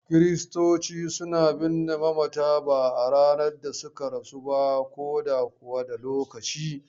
Kiristoci suna binne mamata ba a ranar da suka rasu ba ko da kuwa da lokaci.